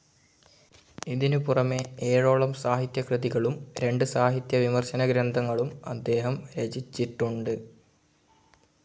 ഇതിനു പുറമെ ഏഴോളം സാഹിത്യ കൃതികളും രണ്ട് സാഹിത്യ വിമർശന ഗ്രന്ഥങ്ങളും അദ്ദേഹം രചിച്ചിട്ടുണ്ട്.